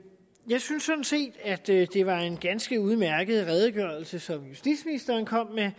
jeg synes sådan set at det var en ganske udmærket redegørelse som justitsministeren kom med